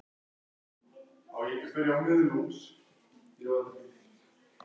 Ég er að hugsa um að sleppa þér aldrei.